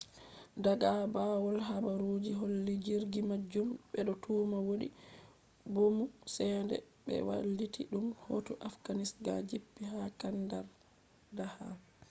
daga bawow habaruji holli jirgi majum bedo tuma wodi bomu sende be wailiti dum hoti afghanistan jippi ha kandahar